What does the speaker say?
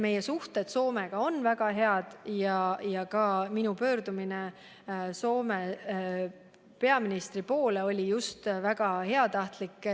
Meie suhted Soomega on väga head ja ka minu pöördumine Soome peaministri poole oli väga heatahtlik.